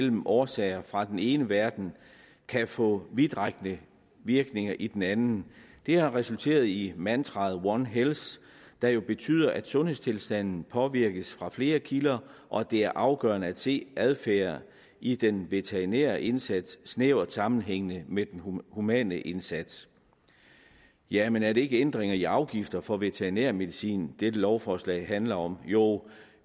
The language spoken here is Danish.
årsager fra den ene verden kan få vidtrækkende virkninger i den anden det har resulteret i mantraet one health der jo betyder at sundhedstilstanden påvirkes fra flere kilder og det er afgørende at se adfærd i den veterinære indsats i snæver sammenhæng med den humane indsats ja men er det ikke ændringer i afgifter for veterinærmedicin dette lovforslag handler om jo